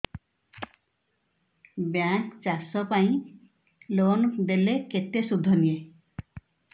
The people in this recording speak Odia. ବ୍ୟାଙ୍କ୍ ଚାଷ ପାଇଁ ଲୋନ୍ ଦେଲେ କେତେ ସୁଧ ନିଏ